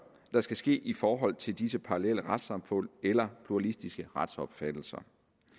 der skal ske i forhold til disse parallelle retssamfund eller pluralistiske retsopfattelser